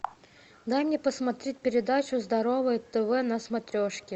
дай мне посмотреть передачу здоровое тв на смотрешке